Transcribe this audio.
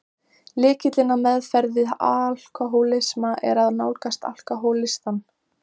Lykillinn að meðferð við alkohólisma er að nálgast alkohólistann.